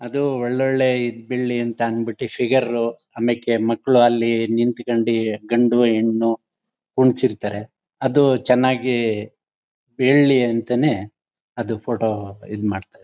ಅದು ಒಳ್ಳೊಳ್ಳೆ ಇದ್ ಬೀಳಲಿ ಅಂತ ಅನ್ ಬಿಟ್ಟು ಫಿಗರ್ ಆಮ್ಯಾಕೆ ಮಕ್ಕಳು ಅಲ್ಲಿ ನಿಂತುಕೊಂಡಿ ಗಂಡು-ಹೆಣ್ಣು ಕುಂಡಿಸಿರ್ತಾರೆ. ಅದು ಚೆನ್ನಾಗಿ ಬೀಳಲಿ ಅಂತಾನೆ ಅದು ಫೋಟೋ ಇದ್ ಮಾಡ್ತಾರೆ.